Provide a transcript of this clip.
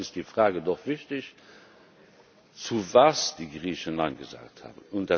Deshalb ist die Frage doch wichtig, zu was die Griechen Nein gesagt haben.